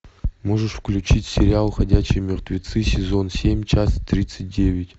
можешь включить сериал ходячие мертвецы сезон семь часть тридцать девять